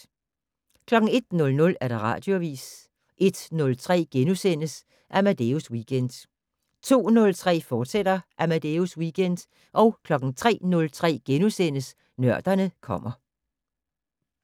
01:00: Radioavis 01:03: Amadeus Weekend * 02:03: Amadeus Weekend, fortsat 03:03: Nørderne kommer *